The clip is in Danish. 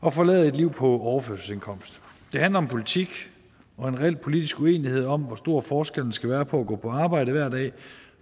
og forlade et liv på overførselsindkomst det handler om politik og en reel politisk uenighed om hvor stor forskellen skal være på at gå på arbejde hver dag